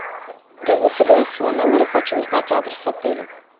я заселилась в свой номер и хочу узнать адрес отеля